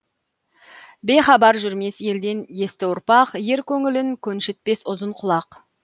бейхабар жүрмес елден есті ұрпақ ер көңілін көншітпес ұзын құлақ